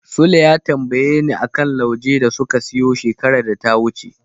Sule ya tambayeni a kan laujen da suka siyo shekarar da ta wuce.